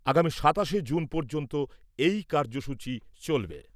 আগামী সাতাশে জুন পর্যন্ত এই কাৰ্যসূচী চলবে।